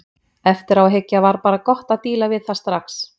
Eftir á að hyggja var bara gott að díla við það strax.